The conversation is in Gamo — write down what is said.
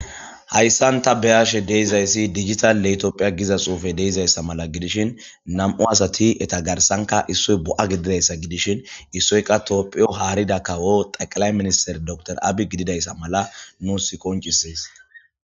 hayssan ta beyashe deizayssi digita letophiya giza xuufe deizayssa mala gidishin nam7u asati eta garsanka issoy bo7a gididayssa gidishin issoyka toophiyo haarida kawo xaqilay minister door abi gididayssa mala nuus koncisees